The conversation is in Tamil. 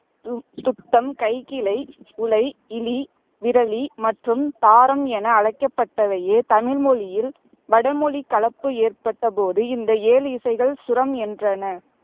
தும் துத்தம், கைக்கிளை, உழை, இளி, விளரி மற்றும் தாரம் என அழைக்கப்பட்டதையே தமிழ்மொழியில் வடமொழிக் கலப்பு ஏற்பட்டபோது இந்த ஏழு இசைகள் சுரம் என்றனர்